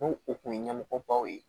N'o o kun ye ɲɛmɔgɔbaw ye